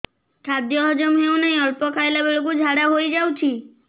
ଖାଦ୍ୟ ହଜମ ହେଉ ନାହିଁ ଅଳ୍ପ ଖାଇଲା ବେଳକୁ ଝାଡ଼ା ହୋଇଯାଉଛି